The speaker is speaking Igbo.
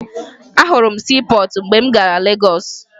Ahụrụ m siipọọtụ mgbe m gara Legọọsụ